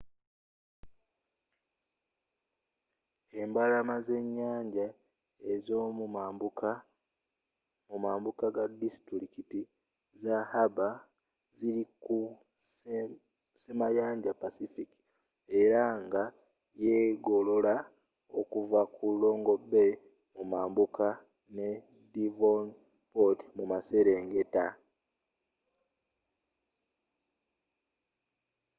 embalama zenyanja ezomumambuka mumambuka ga disitulikiti za harbour ziri ku semayanja pacific era nga yegolola okuva ku long bay mumambuka ne devonport mumaserengeta